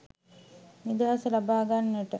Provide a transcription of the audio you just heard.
නිදහස ලබා ගන්නට